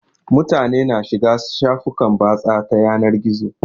Mutane na shiga shafukan batsa ta yanar gizo